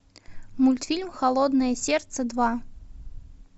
мультфильм холодное сердце два